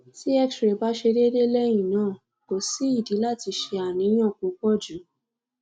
ti xray ba se dede lehina ko si idi lati se aniyan pupo ju